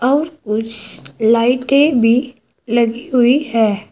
और कुछ लाइटें भी लगी हुई है।